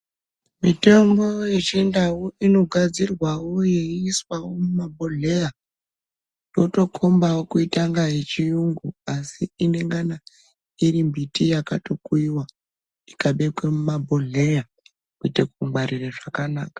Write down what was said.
Mitombo yechindau inogadzirwawo yeyiswa mumabhodhleya yotombawo kutanga yechiungu, asi inengana irimbiti yakatokuyiwa ikabekwe mumabhodhleya kuite kungwarira zvakanaka.